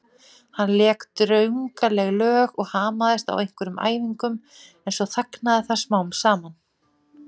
Hann lék drungaleg lög og hamaðist á einhverjum æfingum en svo þagnaði það smám saman.